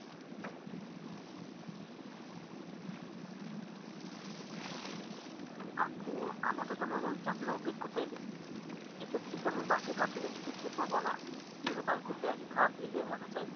আপু আমার তো তেমন চাপের অভিজ্ঞতাই নেই এই ক্ষেত্রে কি আমি বাকি প্রার্থীদের থেকে পিছিয়ে পড়বো না? কিভাবে তাদের থেকে একধাপ এগিয়ে থাকা যায়?